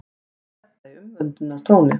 segir Edda í umvöndunartóni.